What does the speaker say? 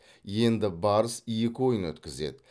енді барыс екі ойын өткізеді